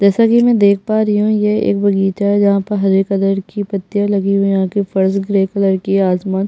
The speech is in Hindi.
जैसा की मैं देख पा रही हूँ ये एक बगीचा है जहाँ पर हरे कलर की पत्तिया लगी हुई है यहाँ की फर्श ग्रे कलर की है आसमान --